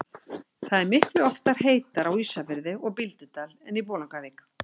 Það er miklu oftar heitara á Ísafirði og Bíldudal en í Bolungarvík.